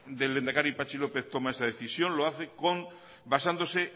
del lehendakari patxi lópez toma esa decisión lo hace con basándose